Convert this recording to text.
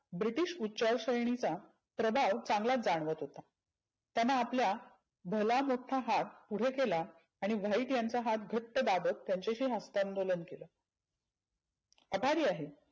British उच्चार श्रेनिचा प्रभाव चांगलाच जानवत होता. त्याने आपला भला मोठ्ठा हात पुढे केला. आणि व्हाईट याचा हात घट्ट दाबत हस्तअंदोलन केलं. आभारी आहे.